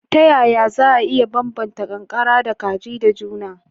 Ta yaya za a iya bambanta ƙanƙara da kaji da juna?